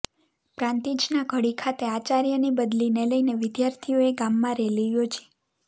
પ્રાંતિજ ના ધડી ખાતે આચાર્ય ની બદલી ને લઇને વિધાર્થીઓએ ગામમાં રેલી યોજી